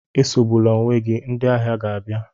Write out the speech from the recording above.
Esogbula onwe gị, ndị ahịa ga-abịa.